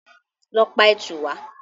Lọ pa ẹtù wá!